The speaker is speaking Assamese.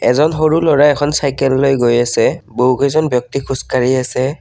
এজন সৰু ল'ৰাই এখন চাইকেল লৈ গৈ আছে বহু কেইজন ব্যক্তি খোজ কাঢ়ি আছে।